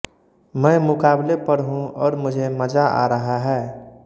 मैं मुकाबले पर हूँ और मुझे मजा आ रहा है